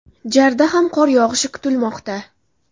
JARda ham qor yog‘ishi kutilmoqda.